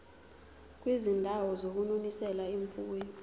kwizindawo zokunonisela imfuyo